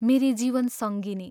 मेरी जीवन सङ्गिनी...